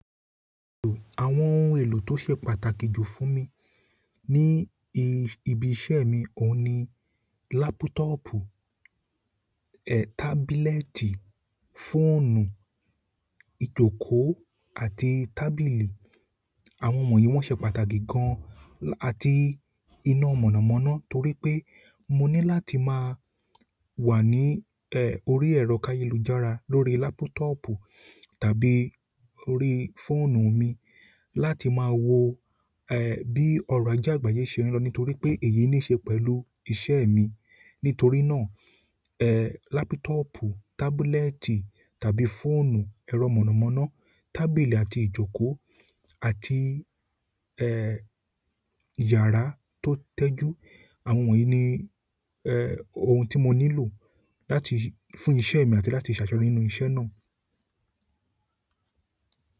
Àwọn ohun èlò tó ṣe pàtàkì jù fún mi ní ibi iṣẹ́ mi, òun ni lápútọ́pù, ẹ́, tábílẹ́ẹ̀tì, fóònù, ìjókòó àti tábìlì. Àwọn wọ̀nyí wọ́n ṣe pàtàkì gan àti iná mọ̀nàmọ́ná torí pé mo ní láti má a wà ní, orí ẹ̀rọ káyelújára lórí lápútọ́pù tàbí orí fóònù mi láti má a wo, bí ọrọ̀ aje àgbáyé ṣe n lọ nítorí pé èyí ní ṣe pẹ̀lú iṣẹ́ mi. Nítorí náà, lápútọ́pù, tábílẹ́ẹ̀tì tàbí fóònù, ẹ̀rọ mọ̀nàmọ́ná, tábìlì àti ìjókòó àti, iyàrá tó tẹjú. Àwọn wọ̀nyí ni ohun ti mo nílò fún iṣẹ́ mi àti láti se àṣeyọrí nínú iṣẹ́ náà.